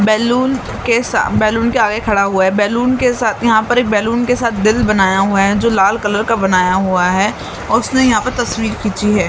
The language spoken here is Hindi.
बैलून के साथ बैलून के आगे खड़ा हुआ है बैलून के साथ यहां पर एक बैलून के साथ दिल बनाया हुआ है जो लाल कलर का बनाया हुआ है और उसने यहां पर तस्वीर खींची है।